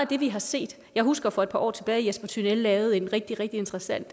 det vi har set jeg husker for et par år tilbage at jesper tynell lavede en rigtig rigtig interessant